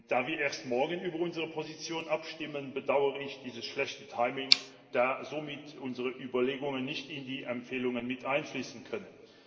Da wir erst morgen über unsere Position abstimmen, bedauere ich dieses schlechte Timing, da somit unsere Überlegungen nicht in die Empfehlungen mit einfließen können.